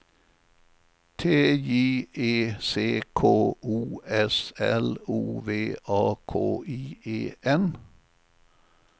T J E C K O S L O V A K I E N